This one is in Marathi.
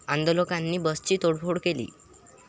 आंदोलकांनी बसची तोडफोड केली.